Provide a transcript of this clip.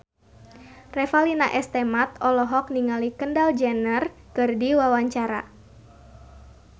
Revalina S. Temat olohok ningali Kendall Jenner keur diwawancara